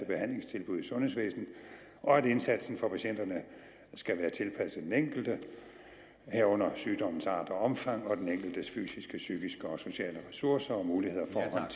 behandlingstilbud i sundhedsvæsenet og at indsatsen for patienterne skal være tilpasset den enkelte herunder sygdommens art og omfang og den enkeltes fysiske psykiske og sociale ressourcer og muligheder